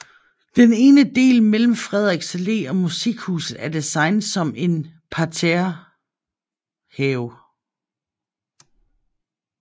Den ene del mellem Frederiks Allé og Musikhuset er designet som en parterrehave